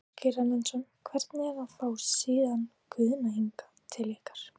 Ásgeir Erlendsson: Hvernig er að fá síðan Guðna hingað til ykkar?